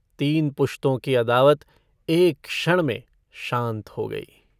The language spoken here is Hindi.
तीन पुश्तों की अदावत एक क्षण में शान्त हो गयी।